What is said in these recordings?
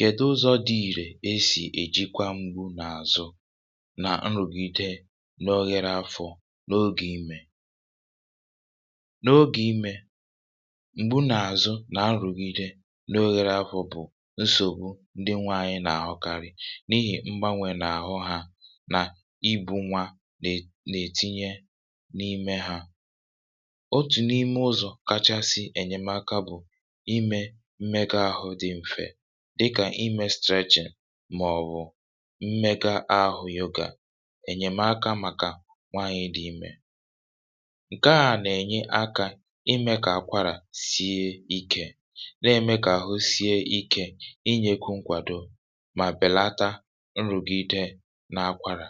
Kèduzọ dị̇ ìrè esì èjikwa mgbu n’àzụ nà nrụ̀gide n’oghere afọ̇ n’ogè imè. N’ogè imè, mgbu n’àzụ n’anrụ̀gide n’oghere afọ̇ bụ̀ nsògbu ndị nwe anyị nà-àhụkarị n’ihì mgbanwè nà-àhụ ha nà ibu̇ nwa nà nà-ètinye n’ime ha. Otù n’ime ụzọ̀ kachasị ènyemaka bụ̀, ime mmega àhụ dị mfè dịkà imė streechị màọ̀bụ̀ mmega ahụ̀ yoga, ènyèmaka màkà nwanyị dị imė. Nkèà nà-ènyi akȧ imė kà àkwarà sie ikė, na-ème kà àhụ sie ikė inyėkwụ nkwàdo mà bèlata nrụ̀gide nà-akwàrà.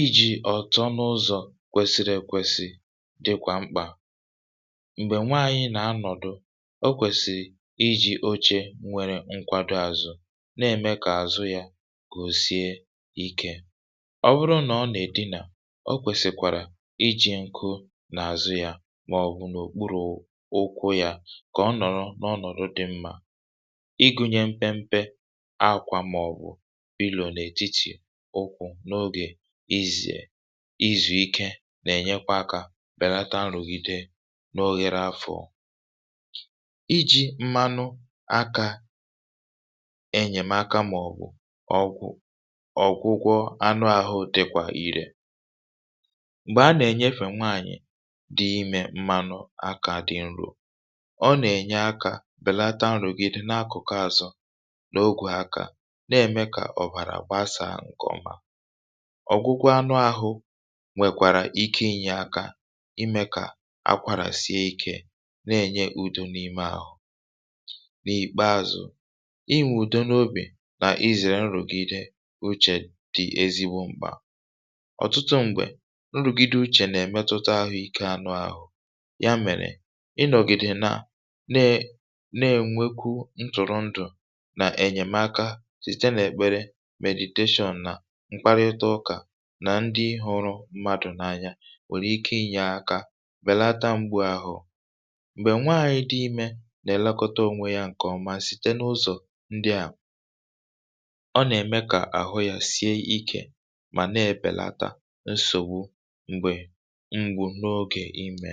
Ijì ọ̀tọ n’ụzọ̀ kwesiri èkwesi dịkwà mkpà. Mgbè nwaanyị nà anọ̀dụ, o kwèsịị iji̇ oche nwere nkwado àzụ̀ na-ème kà àzụ yȧ gòsie ikė. Ọ bụrụ nà ọ nà-èdinà, o kwèsìkwàrà iji̇ ǹkụ n’àzụ yȧ màọ̀bụ̀ n’òkpuru̇ ụkwụ yȧ kà ọ nọ̀rọ̀ n’ọnọ̀dụ dị̇ mmá, ịgụ̇nye mpempe a àkwà màọ̀bụ̀ n’ètitì ụkwụ̇ n’ogè ize, izù ike nà-ènyekwa akȧ bèlata nrụ̀gide n’oghere afọ̀. Ịji mmanụ akȧ enyèmaka màọ̀bụ̀ ọgwụ ọ̀gwụgwọ anụ ahụ̇ dịkwa irė. Mgbè a nà-ènyefe nwaànyị̀ dị imė mmanụ akȧ dị nrȯ, ọ nà-ènye akȧ bèlata nrògide n’akụ̀kụ àzọ n’ogwè akȧ, na-ème kà ọ̀bàrà gbasaa ǹkọ̀ma. Ọgwụgwọ anụ ahụ nwèkwàrà ike inyė aka ime kà akwara sie ikė nà-enyé ùdú n’ime áhụ. N’ìkpeazụ̀, inwùdo n’obì nà izèrè nrụ̀gide uchè dị ezigbo mkpà. Ọtụtụ m̀gbè nrụ̀gide uchè nà-èmetụta ahụ̀ ike anụ̇ ahụ̀, ya mèrè ị nọ̀gìdè nà na na-ènwekwu ntụ̀rụ̀ndụ̀ nà ènyèmaka sìte n’ekpere mèdìteshọn nà mkparịta ụkà nà ndị hụrụ mmadù n’anya, nwèrè ike inyė aka bèlata mgbu àhụ. Mgbè nwàànyị dị ime nà-élékọtá ōnwe yá nkè ọmá site n’ụzọ̀ ndị à, ọ nà-ème kà àhụ ya sie ikė mà na-èbèlata nsògbu m̀gbè ngwu n’ogè imė.